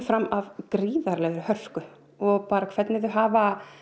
fram af gríðarlegri hörku og hvernig þau hafa